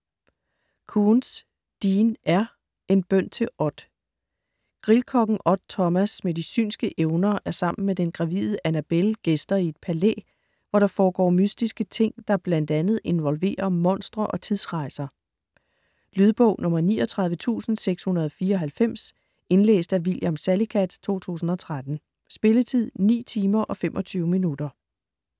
Koontz, Dean R.: En bøn til Odd Grillkokken Odd Thomas med de synske evner er sammen med den gravide Annabelle gæster i et palæ, hvor der foregår mystiske ting, der bl.a. involverer monstre og tidsrejser. Lydbog 39694 Indlæst af William Salicath, 2013. Spilletid: 9 timer, 25 minutter.